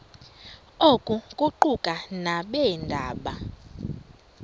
oku kuquka nabeendaba